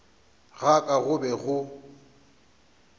ga ka go be go